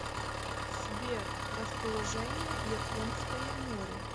сбер расположение японское море